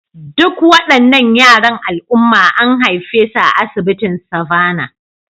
Duk waɗannan yaran al'umma an haife su a asibitin Savannah